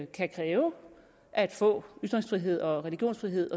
kan kræve at få ytringsfrihed og religionsfrihed